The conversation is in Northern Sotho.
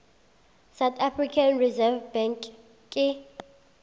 south african reserve bank ke